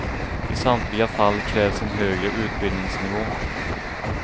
I samtliga fall krävs en högre utbildningsnivå.